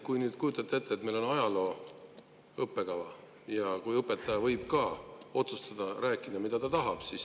Kujutage nüüd ette, et meil on ajaloo õppekava ja õpetaja võib rääkida, mida ta tahab.